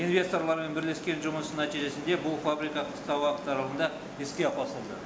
инвесторлармен бірлескен жұмыстың нәтижесінде бұл фабрика қысқа уақыт аралығында іске қосылды